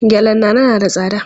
Gyallen Nana na da tsada.